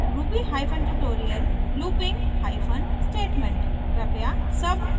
ttt ruby hyphen tutorial looping hyphen statement